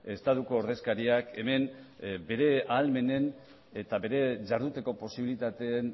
estatuko ordezkariak hemen bere ahalmenen eta bere jarduteko posibilitateen